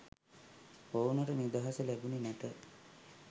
ඔවුනට නිදහස ලැබුනේ නැත.